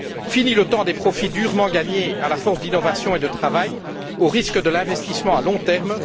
Fini le temps des profits durement gagnés à force d'innovation et de travail, au risque de l'investissement à long terme!